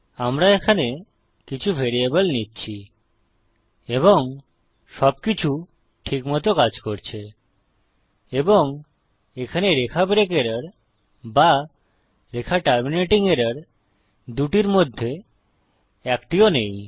আমরা এখানে কিছু ভ্যারিয়েবল নিচ্ছি এবং সবকিছু ঠিক মত কাজ করছে এবং এখানে রেখা ব্রেক এরর বা রেখা টার্মিনেটিং এরর দুটির মধ্যে একটিও নেই